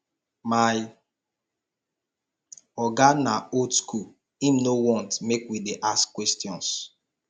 my oga na old skool im no want make we dey ask questions